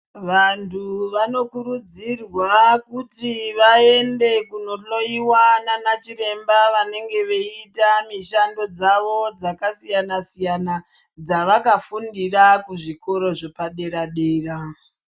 Vanthu vanokurudzirwa kuti vaende kunohloyiwa nana chiremba vanenge veiita mishando dzavo dzakasiyana siyana dzavakafundira kuzvikoro zvepadera dera.